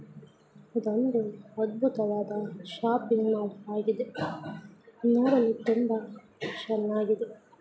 ಇದು ಒಂದು ಅದ್ಭುತವಾದ ಶಾಪನ್ನು ಕಾಣಬಹುದಾಗಿದೆ ಇದು ತುಂಬಾ ಚೆನ್ನಾಗಿದೆ.